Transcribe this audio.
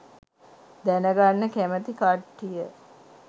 දැනගන්න කැමති කට්ටිය